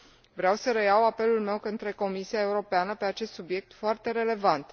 Vreau să reiau apelul meu către Comisia Europeană pe acest subiect foarte relevant.